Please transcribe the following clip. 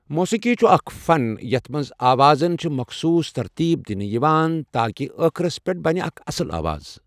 موسیٖقی چھُ اَکھ فَن یَتھ مَنٛز آوازَن چھِ مٓخصوٗص تَرتیٖب دِنہٕ یِوان تاکہِ آخرس پؠٹھ بَنہٕ اَکھ اَصل آواز